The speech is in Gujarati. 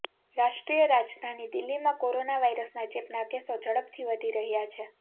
રાષ્ટ્રીય રાજધાની દિલ્હીમાં કોરોના વાયરસના ચેપના કેસો ઝડપથી વધી રહ્યા છે